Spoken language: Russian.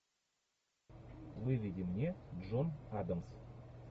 выведи мне джон адамс